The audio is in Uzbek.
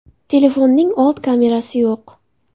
Telefonning old kamerasi yo‘q.